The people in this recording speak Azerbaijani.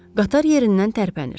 Qatar yerindən tərpənir.